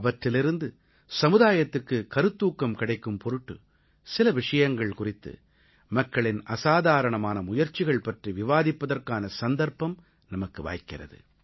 அவற்றிலிருந்து சமுதாயத்துக்குக் கருத்தூக்கம் கிடைக்கும் பொருட்டு சில விஷயங்கள் குறித்து மக்களின் அசாதாரணமான முயற்சிகள் பற்றி விவாதிப்பதற்கான சந்தர்ப்பம் நமக்கு வாய்க்கிறது